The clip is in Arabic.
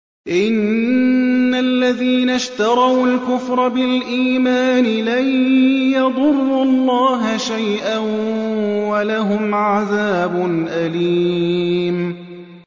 إِنَّ الَّذِينَ اشْتَرَوُا الْكُفْرَ بِالْإِيمَانِ لَن يَضُرُّوا اللَّهَ شَيْئًا وَلَهُمْ عَذَابٌ أَلِيمٌ